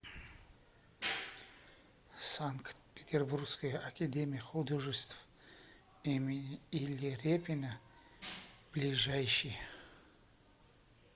санкт петербургская академия художеств имени ильи репина ближайший